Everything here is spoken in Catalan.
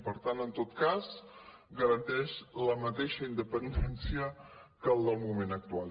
per tant en tot cas garanteix la mateixa independència que el del moment actual